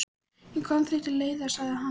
Ég kom því til leiðar, sagði hann.